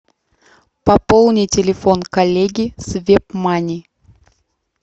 пополни телефон коллеги с вебмани